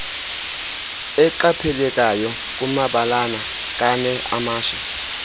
eqaphelekayo kumabalana kaneamashe